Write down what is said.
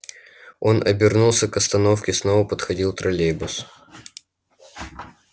он обернулся к остановке снова подходил троллейбус